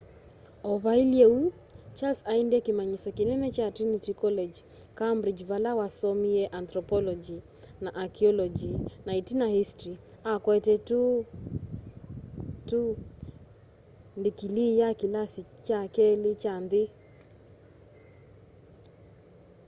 o vailye uu charles aendie kimanyisyo kinene kya trinity college cambridge vala wasomeie antropology na archaeology na itina history akwete 2:2 ndikilii ya kilasi kya keli kya nthi